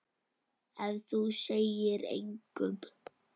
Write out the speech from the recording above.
Ef þú segir engum.